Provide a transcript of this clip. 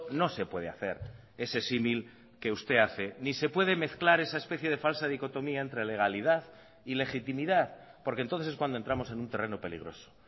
no se puede hacer ese símil que usted hace ni se puede mezclar esa especie de falsa dicotomía entre legalidad y legitimidad porque entonces es cuando entramos en un terreno peligroso